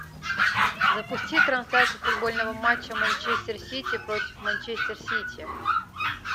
запусти трансляцию футбольного матча манчестер сити против манчестер сити